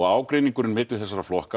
ágreiningurinn milli þessa flokka